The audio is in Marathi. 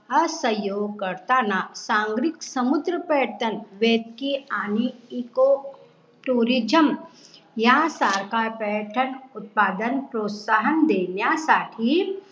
असयोग्य करताना संग्रिक समुद्र पैठण वेदकी आणि ECO TURISM या सारख्या पर्यटन उत्पादन प्रोस्ताहन देण्या साठी